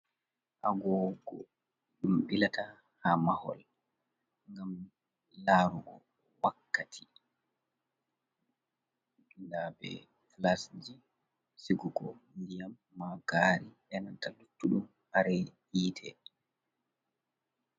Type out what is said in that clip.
Agogo ɗum ɓilata ha mahol gam larugo wakkati. Nda be flas je sigugo ndiyam, ma gari, e nanta luttu ɗum kare ji yite.